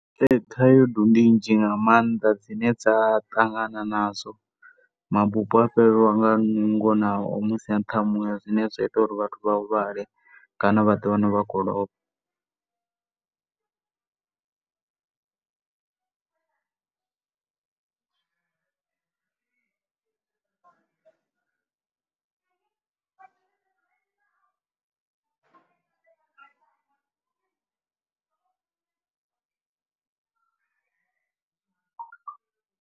Thaidzo ndi nnzhi nga maanda dzine dza ṱangana nadzo. Mabupo a a fhelelwa nga nungo nao musi a nṱha ha muya, zwine zwa ita uri vhathu vha huvhale kana vha ḓiwane vha tshi khou lovha.